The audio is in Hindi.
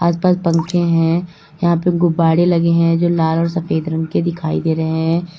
आस पास पंखे हैं। यहां पर गुब्बारे लगे हैं जो लाल और सफेद रंग के दिखाई दे रहे हैं।